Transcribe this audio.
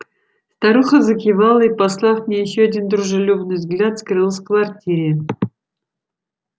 старуха закивала и послав мне ещё один дружелюбный взгляд скрылась квартире